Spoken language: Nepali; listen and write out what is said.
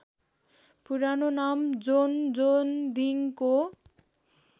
पुरानो नाम जोन्जोन्दिङको